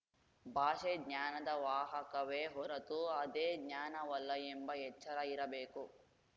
ಭಾಷೆ ಜ್ಞಾನದ ವಾಹಕವೇ ಹೊರತು ಅದೇ ಜ್ಞಾನವಲ್ಲ ಎಂಬ ಎಚ್ಚರ ಇರಬೇಕು